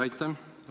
Aitäh!